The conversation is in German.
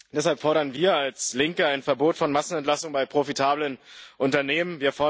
Deshalb fordern wir als Linke ein Verbot von Massenentlassungen bei profitablen Unternehmen.